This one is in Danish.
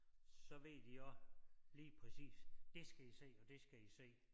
Så ved de også lige præcis det skal I se og det skal I se